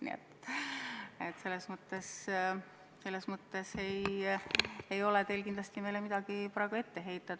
Nii et selles mõttes ei ole teil meile kindlasti praegu midagi ette heita.